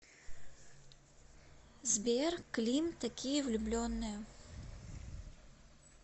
сбер клим такие влюбленные